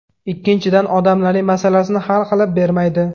Ikkinchidan, odamlarning masalasini hal qilib bermaydi.